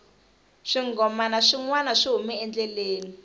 swinghomana swi nwana swi hume endleleni